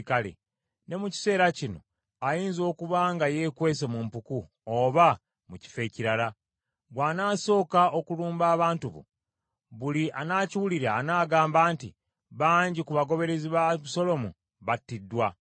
Ne mu kiseera kino, ayinza okuba nga yeekwese mu mpuku oba mu kifo ekirala. Bw’anaasooka okulumba abantu bo, buli anaakiwulira anaagamba nti, ‘Bangi ku bagoberezi ba Abusaalomu battiddwa.’